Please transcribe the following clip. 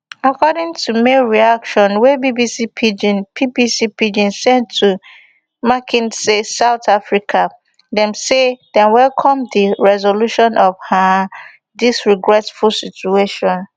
according to mail reaction wey bbc pidgin bbc pidgin send to mckinsey south africa dem say dem welcome di resolution of um dis regretful situation